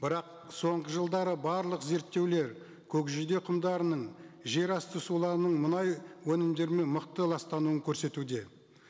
бірақ соңғы жылдары барлық зерттеулер көкжиде құмдарының жерасты суларының мұнай өнімдерімен мықты ластануын көрсетуде